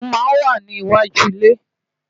Ìlẹ̀kùn máa ń wà ní iwájú ilé